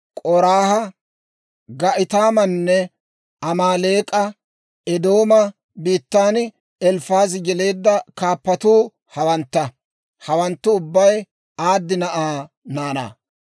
K'oraaha, Ga'itaamanne Amaaleek'a; Eedooma biittan Elifaazi yeleedda kaappatuu hawantta; hawanttu ubbay Aadi na'aa naanaa.